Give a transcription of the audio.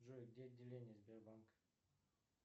джой где отделение сбербанка